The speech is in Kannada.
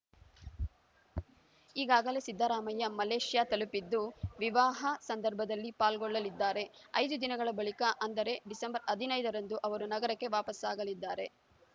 ಈಗಾಗಲೇ ಸಿದ್ದರಾಮಯ್ಯ ಮಲೇಷ್ಯಾ ತಲುಪಿದ್ದು ವಿವಾಹ ಸಮಾರಂಭದಲ್ಲಿ ಪಾಲ್ಗೊಳ್ಳಲಿದ್ದಾರೆ ಐದು ದಿನಗಳ ಬಳಿಕ ಅಂದರೆ ಡಿಸೆಂಬರ್ ಹದಿನೈದರಂದು ಅವರು ನಗರಕ್ಕೆ ವಾಪಸ್ಸಾಗಲಿದ್ದಾರೆ